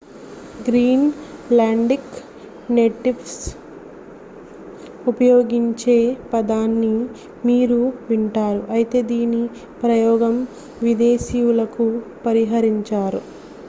green లాండిక్ natives ఉపయోగించే పదాన్ని మీరు వింటారు అయితే దీని ఉపయోగం విదేశీయులకు పరిహరించాలి